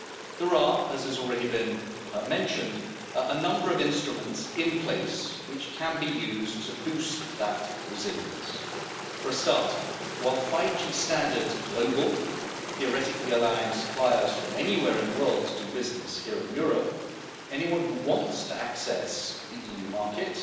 There are, as has already been mentioned, a number of instruments in place which can be used to boost that resilience. For a start, while 5G standards are global, theoretically allowing suppliers from anywhere in the world to do business here in Europe, anyone who wants to access the EU market